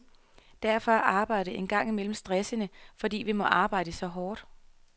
Derfor er arbejdet en gang imellem stressende, fordi vi må arbejde så hårdt.